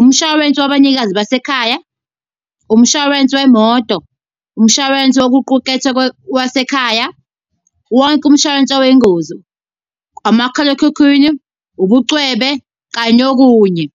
umshwalense wabanikazi basekhaya, umshwalense wemoto, umshwalense wokuqukethwe wasekhaya, wonke umshwalense wengozi, umakhalekhukhwini, ubucwebe kanye nokunye.